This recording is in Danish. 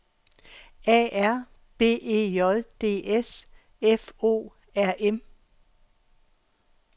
A R B E J D S F O R M